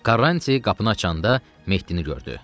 Karranti qapını açanda Mehdini gördü.